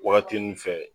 Wagati nun fɛ